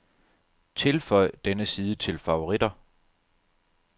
Tilføj denne side til favoritter.